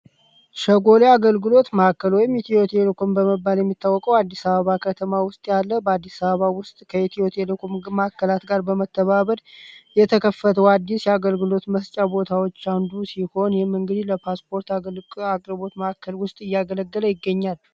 ሸጎሊ አገልግሎት ማዕከል ሆይም ኢትዮቴልኩን በመባል የሚታወቀው አዲስ ሰባባ ከተማ ውስጥ ያለ በአዲስ ሰባባ ውስጥ ከኢትዮቴ ልኩም ማከላት ጋር በመተባበር የተከፈተው አዲስ የአገልግሎት መስጫ ቦታዎች አንዱ ሲሆን ይህም እንግዲ ለፓስፖርት አቅርቦት ማካከል ውስጥ እያገለደለ ይገኛል።